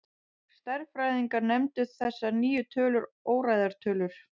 Stærðfræðingar nefndu þessar nýju tölur óræðar tölur.